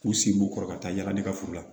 K'u sen b'u kɔrɔ ka taa yala ne ka furu la